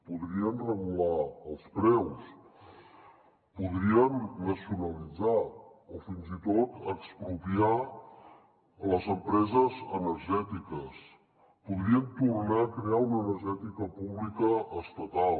podrien regular els preus podrien nacionalitzar o fins i tot expropiar les empreses energètiques podrien tornar a crear una energètica pública estatal